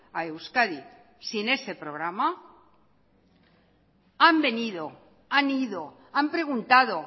a euskadi sin ese programa han venido han ido han preguntado